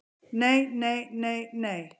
Nei nei nei nei.